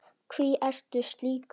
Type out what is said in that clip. Hví ertu slíkur?